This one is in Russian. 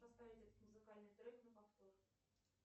поставить этот музыкальный трек на повтор